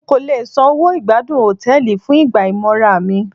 N kò le san owó ìgbádùn Hòtẹ́lìì fún ìgbà ìmora mi.